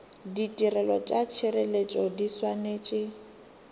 ditirelo tša tšhireletšo di swanetše